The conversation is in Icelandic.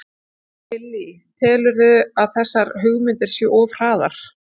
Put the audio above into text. Lillý: Telurðu að þessar hugmyndir séu of hraðar?